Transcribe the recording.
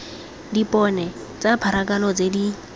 dipone tsa pharakano tse di